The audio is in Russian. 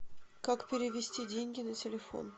как перевести деньги на телефон